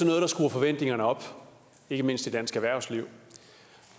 noget der skruer forventningerne op ikke mindst i dansk erhvervsliv